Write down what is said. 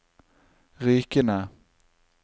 Rykene